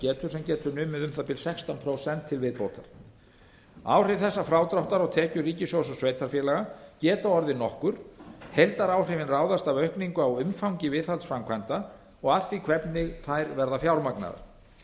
getur sem numið getur um það bil sextán prósent til viðbótar áhrif þessa frádráttar á tekjur ríkissjóðs og sveitarfélaga geta orðið nokkur heildaráhrifin ráðast af aukningu á umfangi viðhaldsframkvæmda og að því hvernig þær verða fjármagnaðar